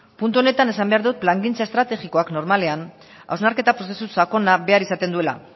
puntu honetan esan behar dut plangintza estrategikoak normalean hausnarketa prozesu sakona behar izaten duela